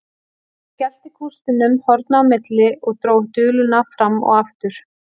Hann skellti kústinum horna á milli og dró duluna fram og aftur.